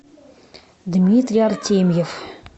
дмитрий артемьев